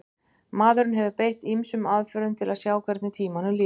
maðurinn hefur beitt ýmsum aðferðum til að sjá hvernig tímanum líður